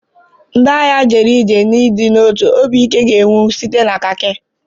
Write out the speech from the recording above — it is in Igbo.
Ndị agha jere ije n'ịdị n'otu; obi ike ga-enwu site na khaki.